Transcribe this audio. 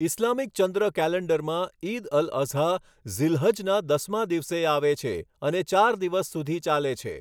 Islamic ચંદ્ર કૅલેન્ડરમાં, ઇદ અલ અઝ્હા ઝિલ્હજના દસમા દિવસે આવે છે અને ચાર દિવસ સુધી ચાલે છે.